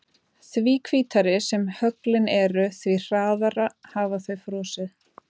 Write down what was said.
Því hvítari sem höglin eru því hraðar hafa þau frosið.